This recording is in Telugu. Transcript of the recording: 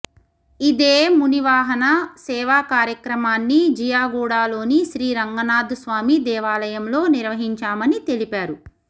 ఇదే మునివాహన సేవ కార్యక్రమాన్ని జియాగూడలోని శ్రీ రంగనాథ్ స్వామి దేవాలయంలో నిర్వహించామని తెలిపారు